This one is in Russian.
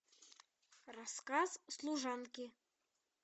рассказ служанки